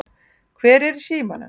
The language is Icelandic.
Hver er í símanum?